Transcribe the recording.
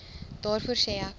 daarvoor sê ek